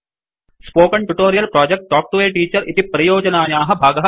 spoken tutorial project talk to a teacher इति परियोजनायाः भागः अस्ति